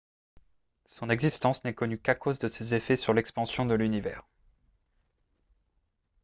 son existence n'est connue qu'à cause de ses effets sur l'expansion de l'univers